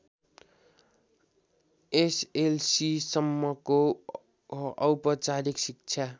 एसएलसीसम्मको औपचारिक शिक्षा